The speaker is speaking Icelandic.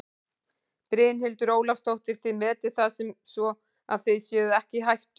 Brynhildur Ólafsdóttir: Þið metið það sem svo að þið séuð ekki í hættu?